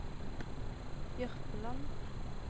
Jørpeland